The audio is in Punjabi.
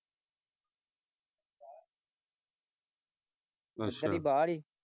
ਅੱਛਾ ਇਹਦੀ ਬਾਹਰ ਈ।